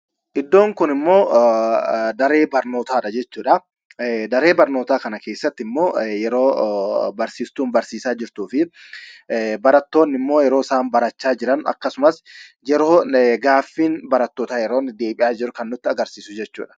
Iddoo kun ammoo daree barnootaadha jechuudha. Daree barnootaa kana keessatti ammoo, yeroo barsiistuun barsiisaa jirtuu fi barattoonni ammoo, yeroosaan barachaa jiran, Akkasumas yeroo gaaffiin barattootaa yeroonni deebi'aa jiru kan nutti agarsiisa jechuudha.